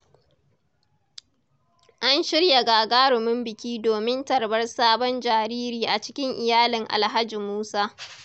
An shirya gagarumin biki domin tarbar sabon jariri a cikin iyalin Alhaji Musa.